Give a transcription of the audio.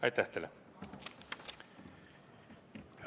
Aitäh teile!